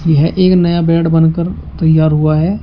यह एक नया बेड बनकर तइयार हुआ है।